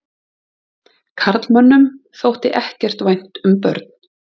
Karlmönnum þótti ekkert vænt um börn.